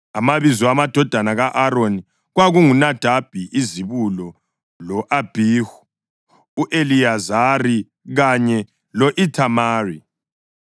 Amabizo amadodana ka-Aroni kwakunguNadabi izibulo lo-Abhihu, u-Eliyazari kanye lo-Ithamari.